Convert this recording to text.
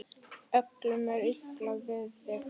Öllum er illa við þig!